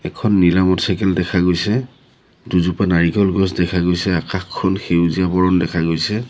এখন নীলা মটৰচাইকেল দেখা গৈছে দুজোপা নাৰিকল গছ দেখা গৈছে আকাশখন সেউজীয়া বৰণ দেখা গৈছে।